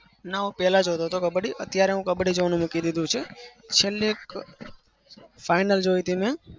ના હું પેલા જોતો હતો કબ્બડી. અત્યારે મેં કબ્બડી જોવાનું મૂકી દીધું છે. છેલ્લે એક final જોઈ હતી મેં.